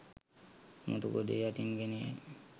මුතු කුඩය යටින් ගෙන යයි.